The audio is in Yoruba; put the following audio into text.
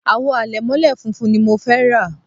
àwo àlẹ̀mọ́lẹ̀ funfun ni mo fẹ́ rà